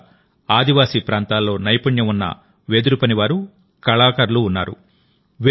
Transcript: ముఖ్యంగా ఆదివాసీ ప్రాంతాల్లో నైపుణ్యం ఉన్న వెదురుపనివారు కళాకారులుఉన్నారు